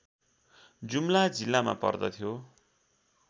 जुम्ला जिल्लामा पर्दथ्यो